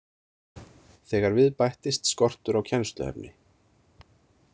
Þegar við bættist skortur á kennsluefni.